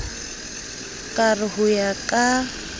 ka re ho ya ka